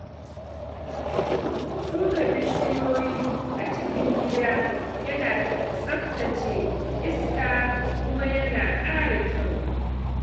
Shuka bishiyoyi a cikin gida yana tsaftace iska kuma yana ƙara kyau.